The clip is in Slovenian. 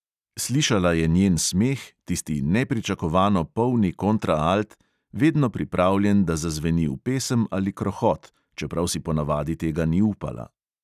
Slišala je njen smeh, tisti nepričakovano polni kontraalt, vedno pripravljen, da zazveni v pesem ali krohot, čeprav si ponavadi tega ni upala.